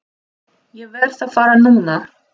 Ég verð að fara núna!